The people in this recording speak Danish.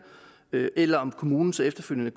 eller om kommunen så efterfølgende